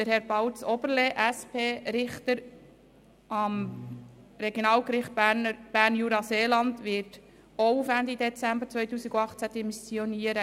Herr Balz Oberle, SP, Richter am Regionalgericht Bern-Jura-Seeland wird auch auf Ende Dezember 2018 demissionieren.